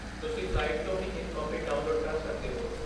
ਤੁਸੀਂ ਸਾਈਟ ਤੋਂ ਹੀ ਇੱਕ ਕਾਪੀ ਡਾਊਨਲੋਡ ਕਰ ਸਕਦੇ ਹੋ।